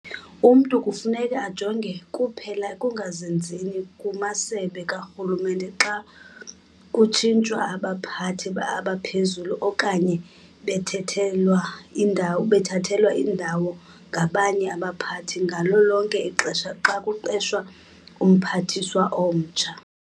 Umntu kufuneka ajonge kuphela ekungazinzini kumasebe karhulumente xa kutshintshwa abaphathi abaphezulu okanye bethathelwa indawo ngabanye abaphathi ngalo lonke ixesha xa kuqeshwa uMphathiswa omtsha.